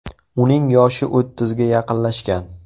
Uning yoshi o‘ttizga yaqinlashgan.